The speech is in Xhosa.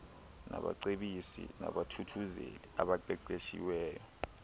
nabacebisi nabathuthuzeli abaqeqeshiweyo